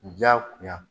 Diyagoya